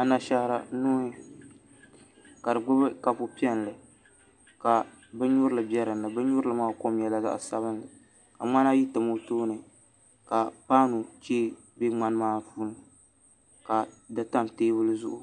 Anashaara nuu ka di gbubi kapu piɛlli ka binnyurili bɛ dinni binyurili maa kom nyɛla zaɣ sabinli ka ŋmana ayo tam o tooni ka paanu chee bɛ ŋmani maa puuni ka di tam teebuli zuɣu